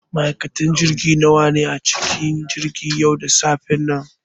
Ma'aikatan jirgi nawa ne a cikin jirgin yau da safen nan?